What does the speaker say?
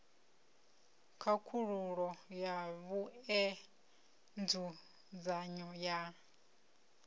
khakhululo ya vhue nzudzanyo ya